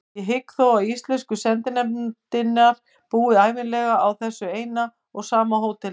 Ég hygg þó að íslensku sendinefndirnar búi ævinlega á þessu eina og sama hóteli.